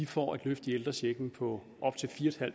får et løft i ældrechecken på op til fire